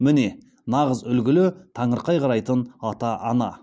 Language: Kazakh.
міне нағыз үлгілі таңырқай қарайтын ата ана